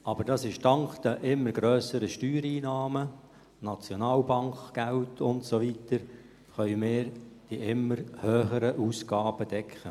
Doch nur dank der immer grösseren Steuereinnahmen, der Nationalbankgelder und so weiter können wir die immer höheren Ausgaben decken.